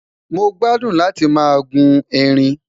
mọ gbádùn láti má guun ẹrín